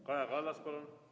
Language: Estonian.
Kaja Kallas, palun!